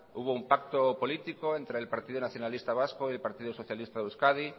hubo un pacto político entre el partido nacionalista vasco y el partido socialista de euskadi